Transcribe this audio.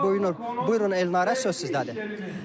Buyurun Elnarə, söz sizdədir.